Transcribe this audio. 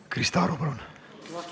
Krista Aru, palun!